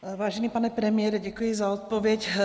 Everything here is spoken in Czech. Vážený pane premiére, děkuji za odpověď.